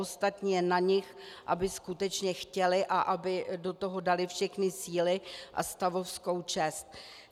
Ostatní je na nich, aby skutečně chtěli a aby do toho dali všechny síly a stavovskou čest.